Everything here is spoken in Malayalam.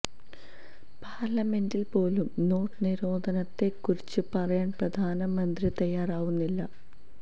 പാര്ലമെന്റില് പോലും നോട്ട് നിരോധനത്തെ കുറിച്ച് പറയാന് പ്രധാന മന്ത്രി തയ്യാറാവുന്നില്ല